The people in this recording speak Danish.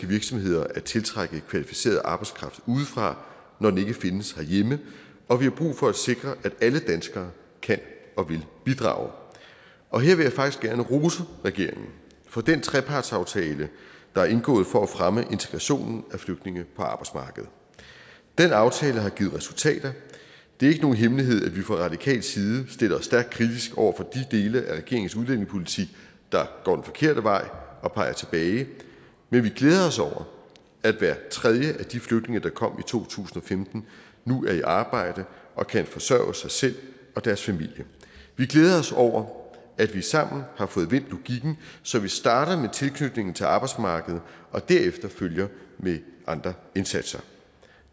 virksomheder at tiltrække kvalificeret arbejdskraft udefra når den ikke findes herhjemme og vi har brug for at sikre at alle danskere kan og vil bidrage og her vil jeg faktisk gerne rose regeringen for den trepartsaftale der er indgået for at fremme integrationen af flygtninge på arbejdsmarkedet den aftale har givet resultater det er ikke nogen hemmelighed at vi fra radikal side stiller os stærkt kritisk over for de dele af regeringens udlændingepolitik der går den forkerte vej og peger tilbage men vi glæder os over at hver tredje af de flygtninge der kom to tusind og femten nu er i arbejde og kan forsørge sig selv og deres familie vi glæder os over at vi sammen har fået vendt logikken så vi starter med tilknytningen til arbejdsmarkedet og derefter følger med andre indsatser